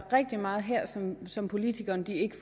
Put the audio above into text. rigtig meget her som som politikerne ikke